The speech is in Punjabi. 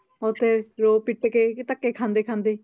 ਉੱਥੇ ਰੋ ਪਿੱਟ ਕੇ ਧੱਕੇ ਖਾਂਦੇ ਖਾਂਦੇ।